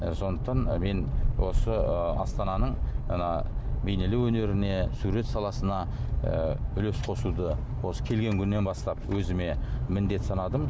сондықтан мен осы ы астананың ана бейнелеу өнеріне сурет саласына ы үлес қосуды осы келген күннен бастап өзіме міндет санадым